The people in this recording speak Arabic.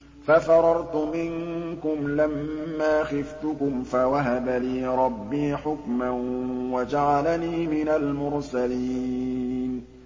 فَفَرَرْتُ مِنكُمْ لَمَّا خِفْتُكُمْ فَوَهَبَ لِي رَبِّي حُكْمًا وَجَعَلَنِي مِنَ الْمُرْسَلِينَ